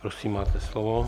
Prosím, máte slovo.